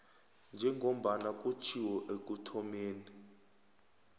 njengombana kutjhiwo ekuthomeni